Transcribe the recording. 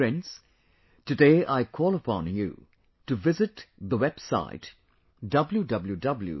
Friends, today I call upon you to visit, the website www